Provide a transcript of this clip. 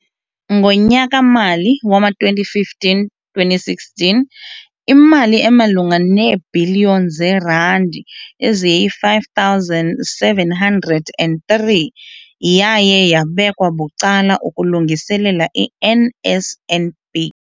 Ngonyaka-mali wama-2015-2016, imali emalunga neebhiliyoni zeerandi eziyi-5 703 yaye yabekelwa bucala ukulungiselela i-NSNP.